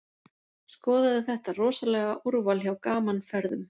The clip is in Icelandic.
Skoðaðu þetta rosalega úrval hjá Gaman Ferðum.